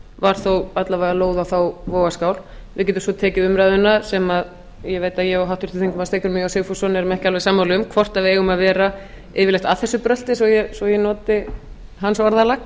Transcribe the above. var þó alla vega lóð á þá vogarskál við getum svo tekið umræðuna sem ég veit ég og háttvirtur þingmaður steingrímur j sigfússon erum ekki alveg sammála um hvort við eigum að vera yfirleitt að þessu brölti svo ég noti hans orðalag